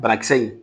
Banakisɛ in